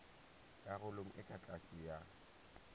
karolong e ka tlase ya